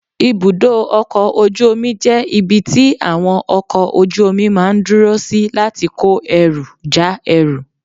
ibùdó ọkọ̀ ojú omi jẹ́ ibi tí àwọn ọkọ̀ ojú omi máa ń dúró sí láti kó ẹrú, já ẹrú